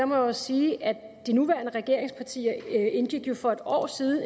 må jeg sige at de nuværende regeringspartier jo for en år siden